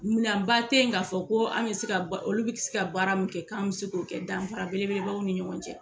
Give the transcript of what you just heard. Minan ba tɛ yen k'a fɔ ko an bɛ se ka olu bɛ se ka baara min kɛ k'an bɛ se k'o kɛ danfara belebeleba anw ni ɲɔgɔn cɛ.